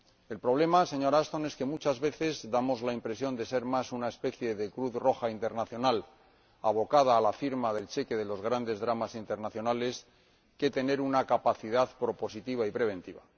El problema, señora Ashton, es que muchas veces damos la impresión de ser más una especie de Cruz Roja Internacional abocada a la firma del cheque de los grandes dramas internacionales que de tener una capacidad propositiva y preventiva.